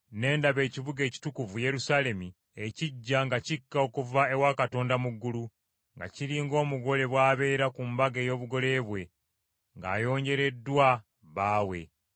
Ne ndaba ekibuga ekitukuvu Yerusaalemi ekiggya nga kikka okuva ewa Katonda mu ggulu, nga kiri ng’omugole bw’abeera ku mbaga ey’obugole bwe, ng’ayonjereddwa bbaawe.